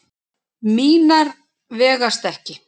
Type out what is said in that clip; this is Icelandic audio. Mínar vegast ekki.